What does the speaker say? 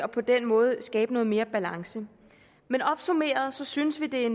på den måde skabe noget mere balance opsummeret synes vi det er